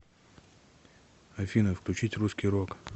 афина включить русский рок